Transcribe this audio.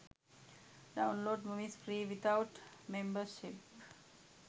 download movies free without membership